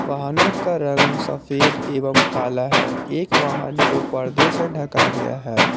वाहनों का रंग सफेद एवम काला है एक वाहन को परदे से ढका गया है।